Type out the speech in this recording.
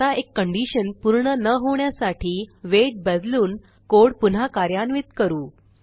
आता एक कंडिशन पूर्ण न होण्यासाठी वेट बदलून कोड पुन्हा कार्यान्वित करू